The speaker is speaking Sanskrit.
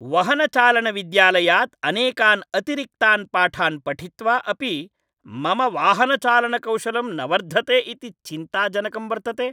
वहनचालनविद्यालयात् अनेकान् अतिरिक्तान् पाठान् पठित्वा अपि मम वाहनचालनकौशलम् न वर्धते इति चिन्ताजनकं वर्तते।